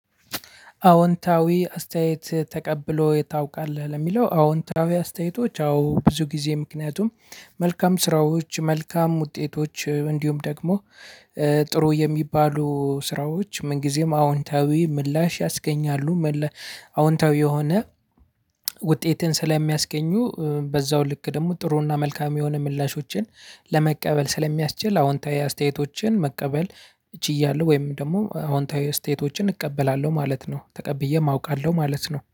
አዎንታዊ አስተያዬት ተቀብለህ ወይ ታውቃለህ ለሚለው አዎንታዊ አስተያየቶች አዎ ብዙ ጊዜ ምክንያቱም መልካም ስራዎች መልካም ውጤቶች እንዲሁም ደግሞ ጥሩ የሚባሉ ስራዎች ምን ጊዜም አዎንታዊ ምላሽ ያስገኛሉ። አዎንታዊ የሆነ ውጤትን ስለሚያስገኙ በዛው ልክ ደግሞ ጥሩና መልካም የሆነ ምላሾችን ለመቀበል ስለሚያስችል አዎንታዊ አስተያየቶችን መቀበል ችያለሁ። ወይም ደግሞ አዎንታዊ አስተያየቶችን እቀበላለሁ ማለት ነው። ተቀብዬም አውቃለሁ ማለት ነው